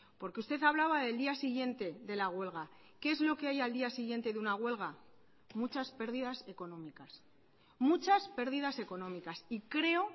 porque usted hablaba del día siguiente de la huelga qué es lo que hay al día siguiente de una huelga muchas pérdidas económicas muchas pérdidas económicas y creo